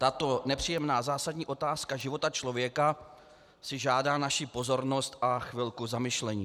Tato nepříjemná zásadní otázka života člověka si žádá naši pozornost a chvilku zamyšlení.